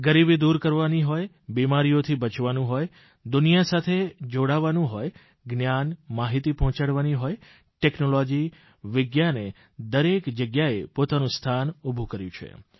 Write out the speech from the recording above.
ગરીબી દૂર કરવાની હોય બીમારીઓથી બચવાનું હોય દુનિયા સાથે જોડાવાનું હોય જ્ઞાન માહિતી પહોંચાડવાની હોય ટેકનોલોજી વિજ્ઞાને દરેક જગ્યાએ પોતાનું સ્થાન ઉભું કર્યું છે